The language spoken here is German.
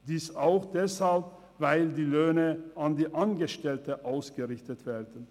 Dies auch deshalb, weil die Löhne an die Angestellten ausgerichtet werden.